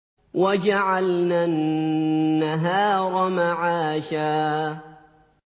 وَجَعَلْنَا النَّهَارَ مَعَاشًا